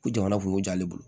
Ko jamana kunko j'ale bolo